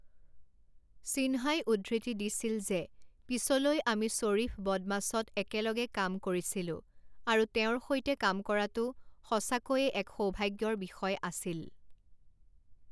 সিনহাই উদ্ধৃতি দিছিল যে পিছলৈ আমি শ্বৰীফ বদমাছত একেলগে কাম কৰিছিলো আৰু তেওঁৰ সৈতে কাম কৰাটো সঁচাকৈয়ে এক সৌভাগ্যৰ বিষয় আছিল।